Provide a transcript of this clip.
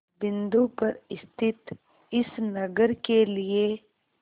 बिंदु पर स्थित इस नगर के लिए